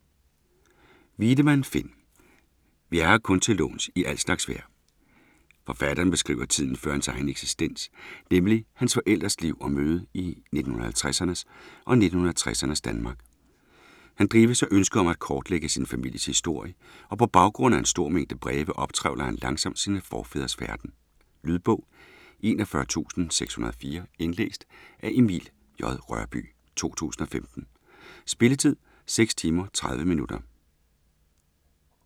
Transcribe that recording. Wiedemann, Finn: Vi er her kun til låns i al slags vejr Forfatteren beskriver tiden før hans egen eksistens, nemlig hans forældres liv og møde i 1950'ernes og 1960'ernes Danmark. Han drives af ønsket om at kortlægge sin families historie og på baggrund af en stor mængde breve optrævler han langsomt sine forfædres færden. Lydbog 41604 Indlæst af Emil J. Rørbye, 2015. Spilletid: 6 timer, 30 minutter.